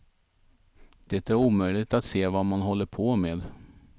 Det är omöjligt att se vad man håller på med.